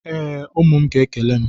Ee, ụmụ m ga-ekele m.